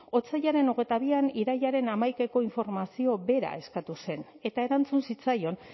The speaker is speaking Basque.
otsailaren hogeita bian irailaren hamaikako informazio bera eskatu zen eta erantzun zitzaion